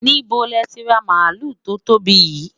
níbo lẹ ti ra maluu to tóbi yii?